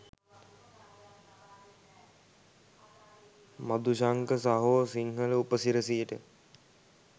මදුශංක සහෝ සිංහල උපසිරැසියට